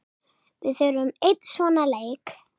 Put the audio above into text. Við þurfum einn svona leik.